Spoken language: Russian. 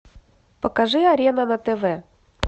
покажи арена на тв